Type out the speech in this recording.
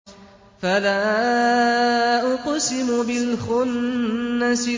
فَلَا أُقْسِمُ بِالْخُنَّسِ